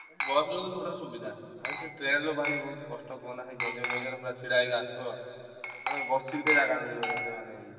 ବସରେ ଯିବୁ ସବୁଠାରୁ ସୁବିଧା ଆ ସେ ଟ୍ରେନରେ ଭାଇ ବହୁତ କଷ୍ଟ କୁହନା ଗେଞ୍ଜା ମେଞ୍ଜାରେ ପୁରା ଛିଡ଼ା ହେଇକି ଆସିଥିବ ତମେ ବସିକି ଥିବ ଜାଗା ମିଳିବନି ଏତେ ମାନେ ୟେ।